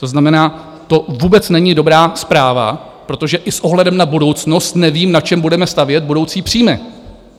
To znamená, to vůbec není dobrá zpráva, protože i s ohledem na budoucnost nevím, na čem budeme stavět budoucí příjmy.